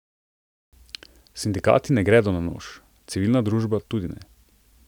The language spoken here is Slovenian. Sindikati ne gredo na nož, civilna družba tudi ne.